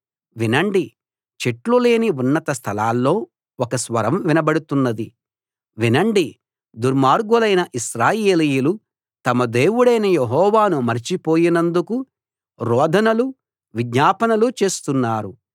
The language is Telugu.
వినండి చెట్లు లేని ఉన్నత స్థలాల్లో ఒక స్వరం వినబడుతున్నది వినండి దుర్మార్గులైన ఇశ్రాయేలీయులు తమ దేవుడైన యెహోవాను మరచిపోయినందుకు రోదనలు విజ్ఞాపనలు చేస్తున్నారు